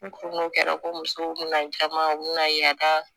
U ko n'o kɛra ko musow bina jama u bina ye